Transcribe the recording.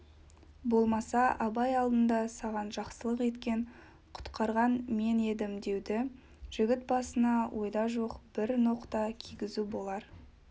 болмаса абай алдында саған жақсылық еткен құтқарған мен едім деуді жігіт басына ойда жоқ бір ноқта кигізу болар